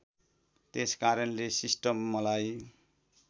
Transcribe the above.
त्यसकारणले सिस्टम मलाई